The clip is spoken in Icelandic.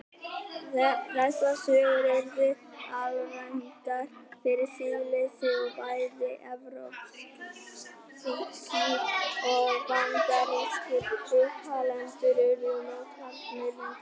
Þessar sögur urðu alræmdar fyrir siðleysi og bæði evrópskir og bandarískir uppalendur urðu mótfallnir myndasögum.